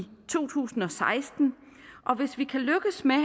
to tusind og seksten og hvis vi kan lykkes med at